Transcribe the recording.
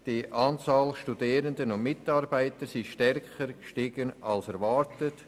Die Anzahl der Studierenden und Mitarbeitenden hat stärker zugenommen als erwartet.